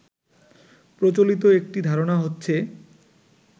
প্রচলিত একটি ধারণা হচ্ছে